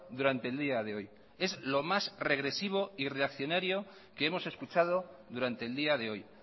durante el día de hoy es lo más regresivo y reaccionario que hemos escuchado durante el día de hoy